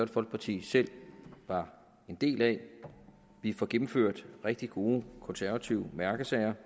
folkeparti selv var en del af vi får gennemført rigtig gode konservative mærkesager